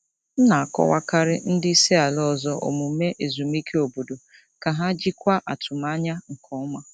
M na-akọwakarị ndị isi ala ọzọ omume ezumike obodo ka ha jikwaa atụmanya nke ọma.